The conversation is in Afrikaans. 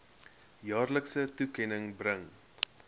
jaarlikse toekenning bring